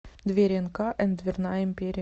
двери энка энд дверная империя